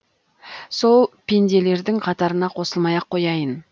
сол пенделердің қатарына қосылмай ақ қояйын